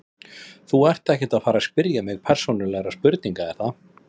Þú ert ekkert að fara spyrja mig persónulegra spurninga er það?